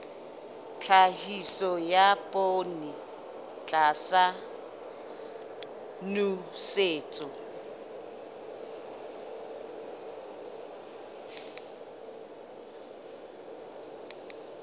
tlhahiso ya poone tlasa nosetso